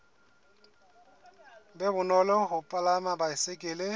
be bonolo ho palama baesekele